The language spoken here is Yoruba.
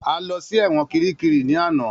A lõ sí èwõn kíríkírí ní àná.